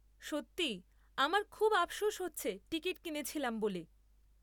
সত্যি, আমার খুব আফসোস হচ্ছে টিকিট কিনেছিলাম বলে।